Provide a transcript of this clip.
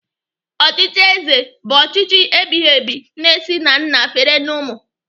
Ọchịchị ézē bụ ọchịchị ebighị ebighị na-esi na nna fere na ụmụ.